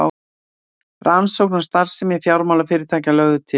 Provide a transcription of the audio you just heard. Rannsókn á starfsemi fjármálafyrirtækja lögð til